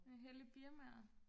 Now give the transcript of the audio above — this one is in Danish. hellig birmaer